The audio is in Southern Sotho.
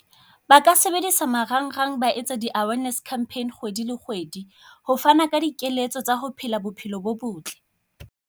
Ba ka sebedisa marangrang ba etsa di-awareness campaign kgwedi le kgwedi. Ho fana ka dikeletso tsa ho phela bophelo bo botle.